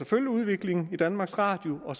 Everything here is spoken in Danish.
følge udviklingen i danmarks radio og